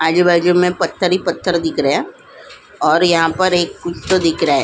आजूबाजू में पत्थर ही पत्थर दिख रहा है और यहां पर एक दिख रहा है ।